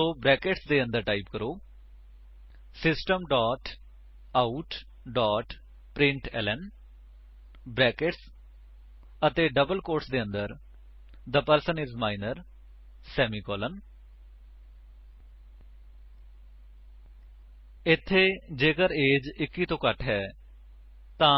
ਸੋ brackets ਦੇ ਅੰਦਰ type ਕਰੋ system dot out dot println brackets ਅਤੇ ਡਬਲ ਕੋਟਸ ਦੇ ਅੰਦਰ the person I S minor semicolon ਇੱਥੇ ਜੇਕਰ ਏਜੀਈ 21 ਤੋਂ ਘੱਟ ਹੈ ਤਾਂ